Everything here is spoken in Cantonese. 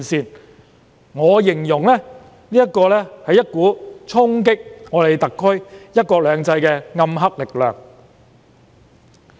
凡此種種，我會形容是一股衝擊特區"一國兩制"的暗黑力量。